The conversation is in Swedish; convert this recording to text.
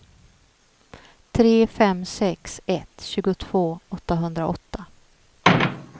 tre fem sex ett tjugotvå åttahundraåtta